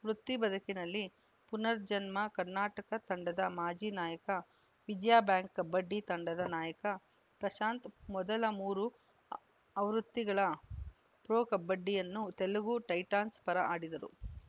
ವೃತ್ತಿಬದುಕಿನಲ್ಲಿ ಪುನರ್‌ಜನ್ಮ ಕರ್ನಾಟಕ ತಂಡದ ಮಾಜಿ ನಾಯಕ ವಿಜಯ ಬ್ಯಾಂಕ್‌ ಕಬಡ್ಡಿ ತಂಡದ ನಾಯಕ ಪ್ರಶಾಂತ್‌ ಮೊದಲ ಮೂರು ಆವ್ ಆವೃತ್ತಿಗಳ ಪ್ರೊ ಕಬಡ್ಡಿಯನ್ನು ತೆಲುಗು ಟೈಟಾನ್ಸ್‌ ಪರ ಆಡಿದ್ದರು